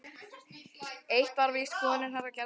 Eitt var víst: Skoðanir hennar gerðu mig ráðvillta.